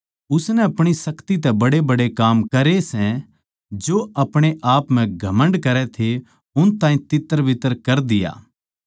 उसनै अपणी शक्ति बड़ेबड़े काम करै सै अर जो अपणेआपनै शक्तिशाली समझै थे उन ताहीं तित्तरबित्तर कर दिया